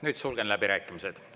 Nüüd sulgen läbirääkimised.